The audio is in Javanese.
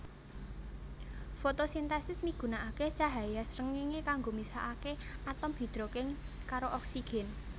Fotosintesis migunakaké cahya srengéngé kanggo misahaké atom hidrogen karo oksigen